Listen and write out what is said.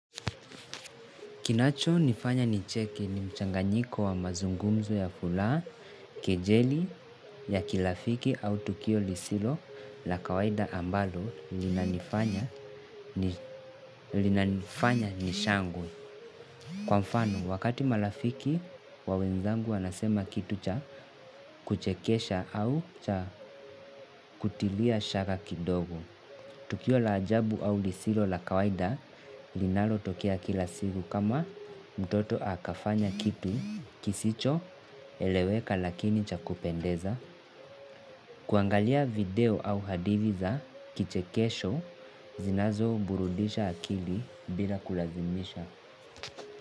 Kinachonifanya ni cheke ni mchanganyiko wa mazungumzo ya furaha, kejeli ya kirafiki au tukio lisilo la kawaida ambalo linanifanya nishangwe. Kwa mfano, wakati marafiki wa wenzangu wanasema kitu cha kuchekesha au cha kutilia shaka kidogo. Tukio la ajabu au lisilo la kawaida linalotokea kila siku kama mtoto akafanya kitu kisichoeleweka lakini cha kupendeza. Kuangalia video au hadithi za kichekesho zinazoburudisha akili bila kulazimisha.